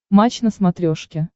матч на смотрешке